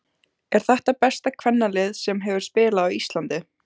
Er þetta besta kvennalið sem hefur spilað á Íslandi?